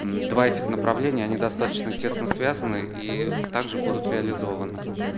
мм два этих направления они достаточно тесно связаны и также будут реализованы